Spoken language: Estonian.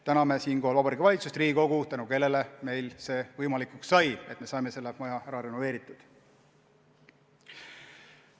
Täname siinkohal Vabariigi Valitsust ja Riigikogu, tänu kellele sai võimalikuks, et et see maja ära renoveeriti.